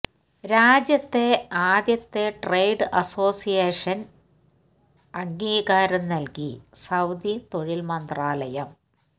രാജ്യത്തെ ആദ്യത്തെ ട്രേഡ് അസോസിയേഷന് അംഗീകാരം നല്കി സൌദി തൊഴിൽ മന്ത്രാലയം